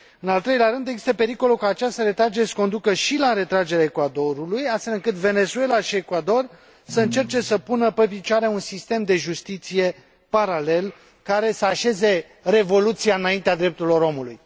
În al treilea rând, există pericolul ca această retragere să conducă și la retragerea Ecuadorului, astfel încât Venezuela și Ecuador să încerce să pună pe picioare un sistem de justiție paralel, care să așeze revoluția înaintea drepturilor omului.